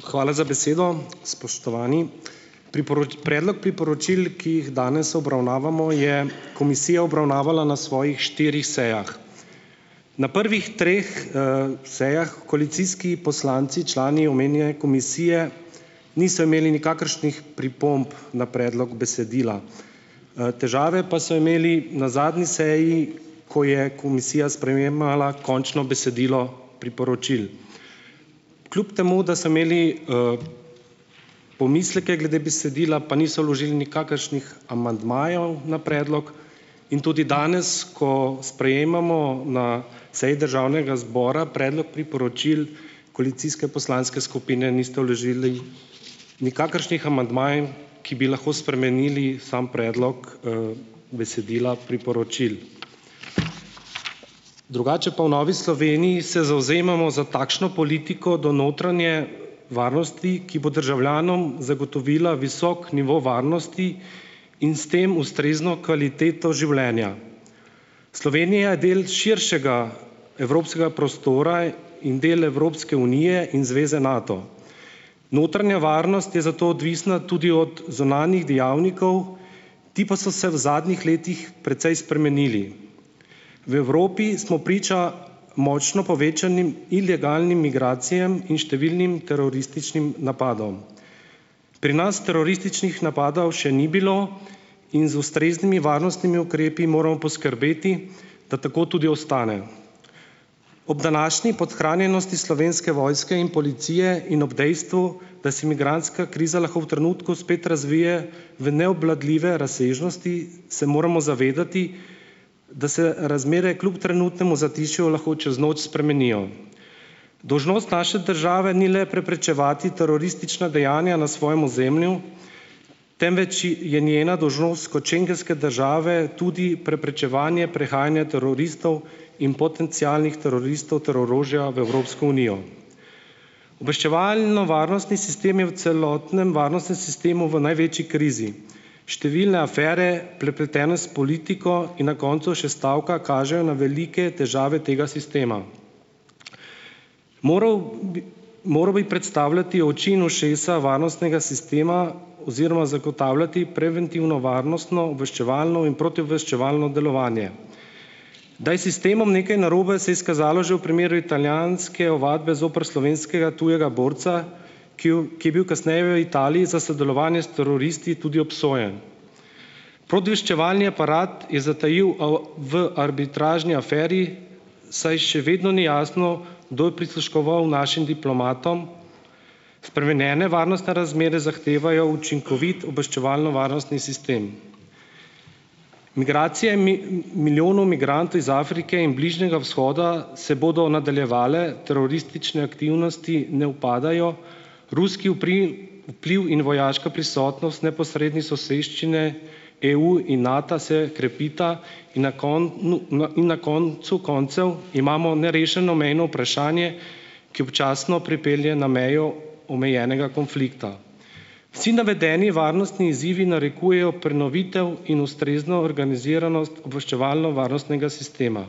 Hvala za besedo, spoštovani. predlog priporočil, ki jih danes obravnavamo, je komisija obravnavala na svojih štirih sejah. Na prvihtreh, sejah koalicijski poslanci, člani omenjene komisije, niso imeli nikakršnih pripomb na predlog besedila. težave pa so imeli na zadnji seji, ko je komisija sprejemala končno besedilo priporočil. Kljub temu da so imeli, pomisleke glede besedila, pa niso vložili nikakršnih amandmajev na predlog, in tudi danes, ko sprejemamo na seji državnega zbora predlog priporočil koalicijske poslanske skupine, niste vložili nikakršnih amandmajev, ki bi lahko spremenili sam predlog, besedila priporočil. Drugače pa v Novi Sloveniji se zavzemamo za takšno politiko do notranje varnosti, ki bo državljanom zagotovila visok nivo varnosti in s tem ustrezno kvaliteto življenja. Slovenija je del širšega evropskega prostora in del Evropske unije in zveze Nato. Notranja varnost je zato odvisna tudi od zunanjih dejavnikov, ti pa so se v zadnjih letih precej spremenili. V Evropi smo priča močno povečanim ilegalnim migracijam in številnim terorističnim napadom. Pri nas terorističnih napadov še ni bilo in z ustreznimi varnostnimi ukrepi moramo poskrbeti, da tako tudi ostane. Ob današnji podhranjenosti slovenske vojske in policije in ob dejstvu, da se migrantska kriza lahko v trenutku spet razvije v neobvladljive razsežnosti, se moramo zavedati, da se razmere kljub trenutnemu zatišju lahko čez noč spremenijo. Dolžnost naše države ni le preprečevati teroristična dejanja na svojem ozemlju, temveč je njena dolžnost kot schengenske države tudi preprečevanje prehajanja teroristov in potencialnih teroristov ter orožja v Evropsko unijo. Obveščevalno-varnostni sistem je v celotnem varnostnem sistemu v največji krizi. Številne afere, prepletene s politiko, in na koncu še stavka kažejo na velike težave tega sistema. Moral moral bi predstavljati oči in ušesa varnostnega sistema oziroma zagotavljati preventivno varnostno obveščevalno in protiobveščevalno delovanje. Da je sistemom nekaj narobe, se je izkazalo že v primeru italijanske ovadbe zoper slovenskega tujega borca, ki ki je bil kasneje v Italiji za sodelovanje s teroristi tudi obsojen. Protiobveščevalni aparat je zatajil v arbitražni aferi, saj še vedno ni jasno, kdo je prisluškoval našim diplomatom. Spremenjene varnostne razmere zahtevajo učinkovit obveščevalno-varnostni sistem. Migracije milijonom migrantov iz Afrike in Bližnjega vzhoda, se bodo nadaljevale, teroristične aktivnosti ne upadajo, ruski vpliv in vojaška prisotnost neposredni soseščini EU in Nata se krepita in na in na koncu koncev imamo nerešeno mejno vprašanje, ki občasno pripelje na mejo omejenega konflikta. Vsi navedeni varnostni izzivi narekujejo prenovitev in ustrezno organiziranost obveščevalno-varnostnega sistema.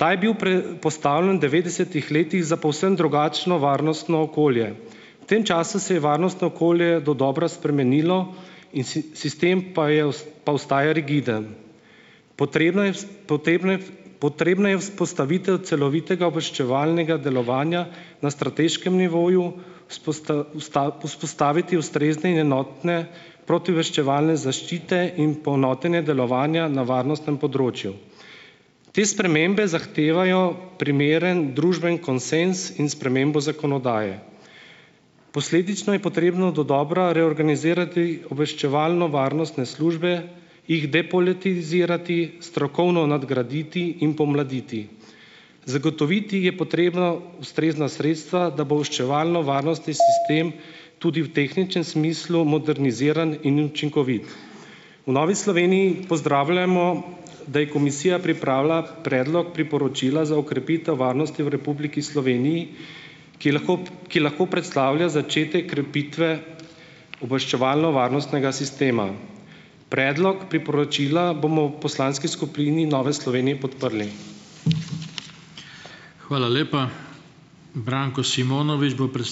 Ta je bil predpostavljen devetdesetih letih za povsem drugačno varnostno okolje. V tem času se je varnostno okolje dodobra spremenilo in sistem pa je pa ostaja rigiden. Potrebna je potrebna potrebna je vzpostavitev celovitega obveščevalnega delovanja na strateškem nivoju, vzpostaviti ustrezne in enotne protiobveščevalne in poenotenje delovanja na varnostnem področju. Te spremembe zahtevajo primeren družbeni konsenz in spremembo zakonodaje. Posledično je potrebno dodobra reorganizirati obveščevalno-varnostne službe, jih depolitizirati, strokovno nadgraditi in pomladiti. Zagotoviti je potrebno ustrezna sredstva, da bo obveščevalno- varnostni sistem tudi v tehničnem smislu moderniziran in učinkovit. V Novi Sloveniji pozdravljamo, da je komisija pripravila Predlog priporočila za okrepitev varnosti v Republiki Sloveniji, ki je lahko, ki lahko predstavlja začetek krepitve obveščevalno-varnostnega sistema. Predlog priporočila bomo v poslanski skupini Nove Slovenije podprli. Hvala lepa. Branko Simonovič bo ...